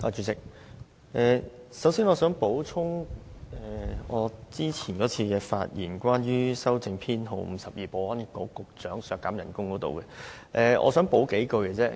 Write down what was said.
主席，首先，我想補充我上一次的發言，關於修正案編號 52， 削減保安局局長的全年預算薪酬開支。